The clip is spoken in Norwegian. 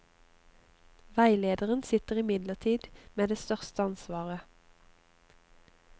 Veilederen sitter imidlertid med det største ansvaret.